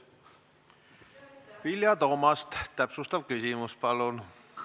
Vilja Toomast, täpsustav küsimus, palun!